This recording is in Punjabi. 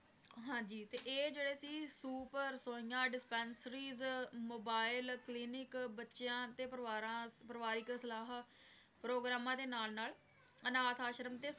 ਹਾਂਜੀ ਤੇ ਇਹ ਜਿਹੜੇ ਸੀ dispensries, mobile, cleaning ਬੱਚਿਆਂ ਅਤੇ ਪਰਿਵਾਰਾਂ ਪਰਿਵਾਰਿਕ ਸਲਾਹਾਂ ਪ੍ਰੋਗਰਾਮਾਂ ਦੇ ਨਾਲ ਨਾਲ ਅਨਾਥ ਆਸ਼ਰਮ